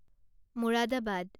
Moradabad